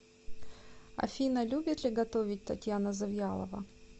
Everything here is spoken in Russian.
афина любит ли готовить татьяна завьялова